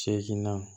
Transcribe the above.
Seginna